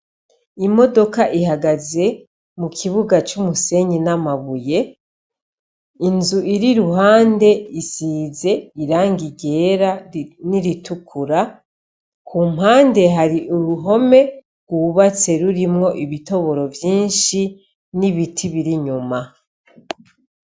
Imodoka ihagaze mukibuga c'umusenyi n'amabuye, inzu iri iruhande isize irangi ryera n'iritukura, kumpande hari uruhome rwubatse rurimwo ibitoboro vyinshi n'ibiti bir'inyuma.